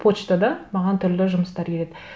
почтада маған түрлі жұмыстар келеді